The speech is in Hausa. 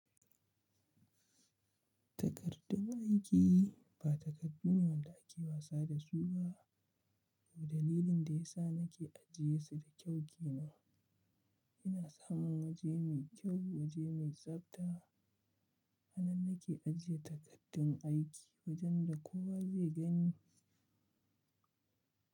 Takardun aiki ba takardu ne wanda ake wasa da su ba, kuma dalilin da ya sa nake ajiye su da kyau ke nan. Ina samun waje mai kyau, waje mai tsabta a nan nake ajiye takardun aiki wajen da kowa zai gani.